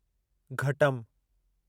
घटम